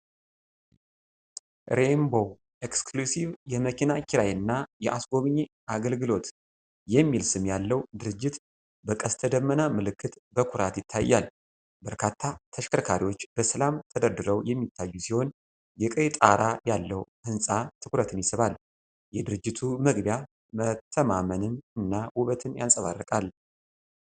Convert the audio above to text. "ሬይንቦ እክስክሉሲቭ የመኪና ኪራይና የአጎብኚ አገልግሎት" የሚል ስም ያለው ድርጅት በቀስተ ደመና ምልክት በኩራት ይታያል። በርካታ ተሽከርካሪዎች በሰላም ተደርድረው የሚታዩ ሲሆን፤ የቀይ ጣራ ያለው ሕንጻ ትኩረትን ይስባል። የድርጅቱ መግቢያ መተማመንን እና ውበት ያንጸባርቃል።